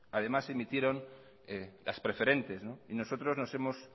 además emitieron las preferentes y nosotros nos hemos